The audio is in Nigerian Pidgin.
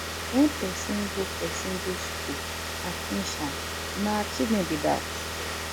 when persin go persin go school and finish am na achievement be that